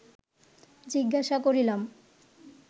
জিজ্ঞাসা করিলাম